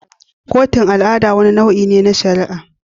Kotun al'ada wani nau'i ne na shari'a.